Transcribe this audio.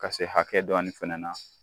Ka se hakɛ dɔɔnin fana na